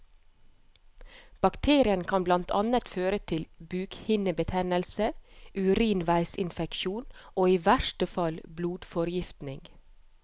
Bakterien kan blant annet føre til bukhinnebetennelse, urinveisinfeksjon og i verste fall blodforgiftning.